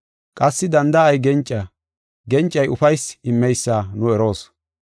Qassi danda7ay genca, gencay ufaysi immeysa nu eroos.